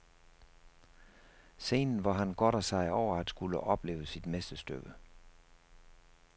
Scenen, hvor han godter sig over at skulle opleve sit mesterstykke.